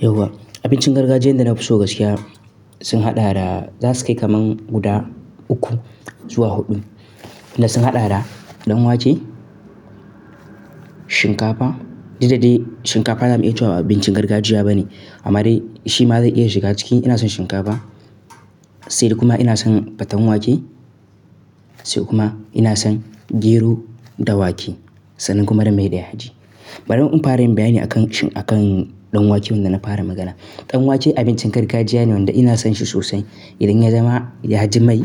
Yauwa. Abincin gargajiya da na fi so gaskiya sun haɗa da, za su kai kaman guda uku zuwa huɗu. Wanda sun haɗa da ɗan wake, shinkafa. Daddare shinkafa ba za mu iya cewa abincin gargajiya bane amma dai shi ma zai iya shiga ciki. Ina son shinkafa, sai kuma ina son faten wake, sai kuma ina son gero da wake sannan kuma da mai da yaji. Bari mun fara yin bayani akan, akan ɗan wake wanda na fara magana. Ɗan wake abincin gargajiya ne wanda ina son shi sosai. Idan ya zama yaji mai,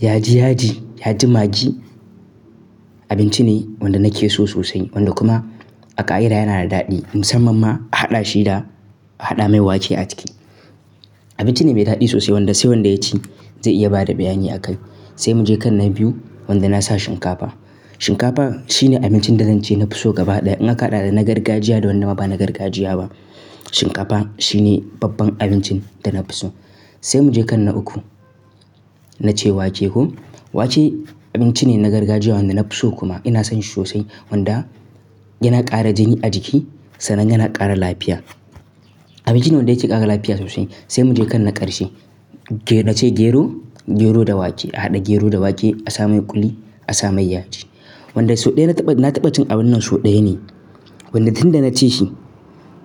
yaji yaji, yaji magi, abinci ne wanda nake so sosai wanda kuma a ƙa'ida yana da daɗi musamman ma a haɗa shi da, a haɗa mai wake a ciki. Abinci ne mai daɗi sosai wanda sai wanda ya ci zai iya bada bayani a kai. Sai mu je kan na biyu wanda na sa shinkafa. Shinkafa shine abincin da zan ce na fi so gaba ɗaya. In aka haɗa da na gargajiya da wanda ba na gargajiya ba, shinkafa shine babban abincin da na fi so. Sai mu je kan na uku, na ce wake. Ko? Wake abinci ne na gargajiya wanda na fi so kuma ina son shi sosai wanda yana ƙara jini a jiki sannan yana ƙara lafiya. Abinci ne wanda yake ƙara lafiya sosai. Sai mu je kan na ƙarshe, gero ce gero, gero da wake. A haɗa gero da wake, a sa mai ƙuli, a sa mai yaji. Wanda so ɗaya na taɓa, na taɓa cin abun nan so ɗaya ne. Wanda tun da na ci shi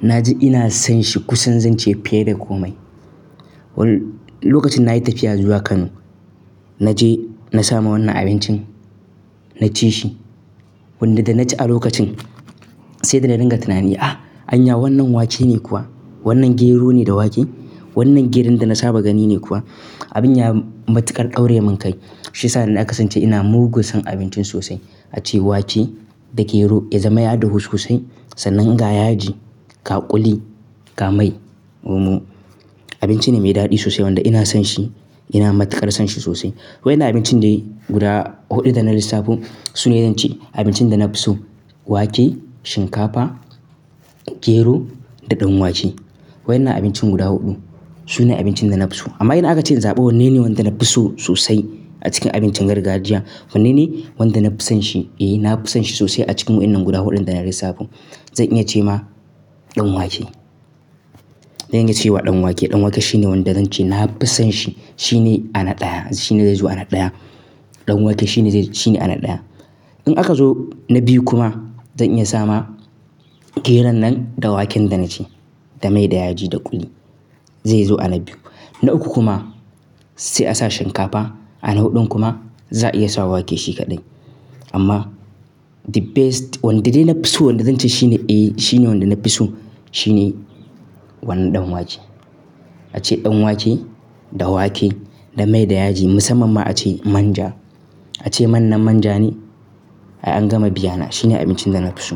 na ji ina son shi kusan zan ce fiye da komai. Lokacin nayi tafiya zuwa Kano, na je na samu wannan abincin, na ci shi. Wanda da na ci a lokacin sai da na dinga tunani, "Ah! Anya wannan wake ne kuwa? Wannan gero ne da wake? Wannan geron da na saba gani ne kuwa?" Abin ya matuƙar daurayemin kai. Shi ya sa na kasance ina mugu son abincin sosai. A ce wake da gero, ya zama ya hadu huske sosai sannan ga yaji, ga ƙuli, ga mai kuma. Abinci ne mai daɗi sosai wanda ina son shi, ina matuƙar son shi sosai. Wai na abincin dai guda huɗu da na lissafo su ne zan ce abincin da na fi so. Wake, shinkafa, gero da ɗan wake. Wai na abincin guda huɗu su ne abincin da na fi so. Amma ina aka ce in zaɓa wanne ne wanda na fi so sosai a cikin abincin gargajiya? Wanne ne wanda na fi son shi? Eh, na fi son shi sosai a cikin wannan guda huɗun da na yi lissafin, zan iya ce ma ɗan wake. Zan iya ce wa ɗan wake. Ɗan wake shine wanda zan ce na fi son shi. Shine ana ɗaya. Shine zai zo ana ɗaya. Ɗan wake shine zai, shine ana ɗaya. In aka zo na biyu kuma zan iya sa ma geron nan da waken da na ce, da mai, da yaji, da ƙuli. Zai zo ana biyu. Na uku kuma sai a sa shinkafa. Ana huɗun kuma za a iya sa wake shi kaɗai. Amma the best, wanda dai na fi so wanda zan ce shine eh shine wanda na fi so shine wannan ɗan wake. Wanda da na ci a lokacin sai da na dinga tunani, "Ah! Anya wannan wake ne kuwa? Ace wannan manja ne ay an gama biya na. Shine abincin da na fi so.